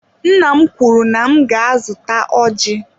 Nna m kwuru na m ga-azụta ọjị.